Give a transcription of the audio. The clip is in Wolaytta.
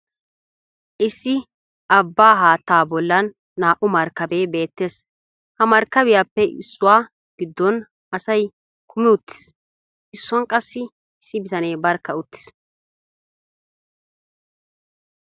Issi abbaa haattaa bollan naa"u markkabee beettes. Ha markkabiyappe issuwa giddon asay kumi uttis. Issuwan qassi issi bitanee barkka uttis.